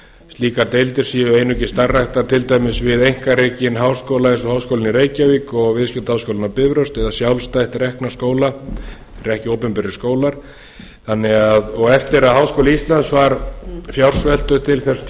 slíkar deildir séu einungis starfræktar til dæmis við einkarekinn háskóla eins og háskólann í reykjavík og viðskiptaháskólann á bifröst eða sjálfstætt rekna skóla sem eru ekki opinberir skólar eftir að háskóli íslands var fjársveltur til þess